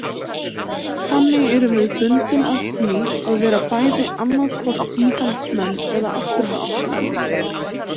Þannig erum við bundin af því að vera bæði annaðhvort íhaldsmenn eða afturhaldsmenn.